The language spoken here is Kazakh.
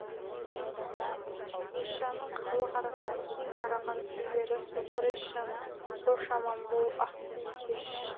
есжанның халық арасында кең тараған күйлері соқыр есжан қош аман бол ақбикеш